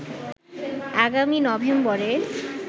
আগামী নভেম্বরে